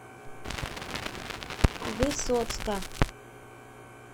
высоцка